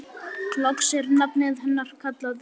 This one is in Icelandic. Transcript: Loks er nafnið hennar kallað upp.